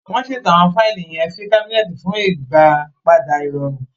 Wọn ṣeto awọn faili yen sí cabineti fun ìgbàpadà irọrun